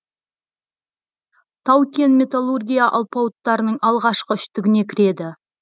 тау кен металлургия алпауыттарының алғашқы үштігіне кіреді